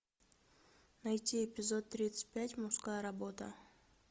найти эпизод тридцать пять мужская работа